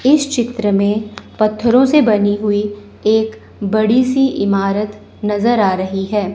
इस चित्र में पत्थरों से बनी हुई एक बड़ी सी इमारत नजर आ रही है।